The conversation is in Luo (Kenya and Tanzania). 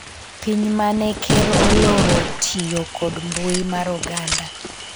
piny mane ker oloro tiyo kod mbui mar oganda